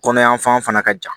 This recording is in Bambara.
Kɔnɔ yan fan fana ka ca